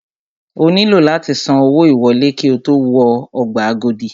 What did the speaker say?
O nílò láti san owó ìwọlé ki o tó wọ ọgbà Agodi.